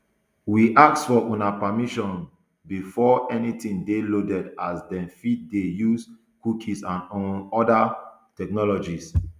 we ask for una permission um before anytin dey loaded as dem fit dey use cookies and um oda technologies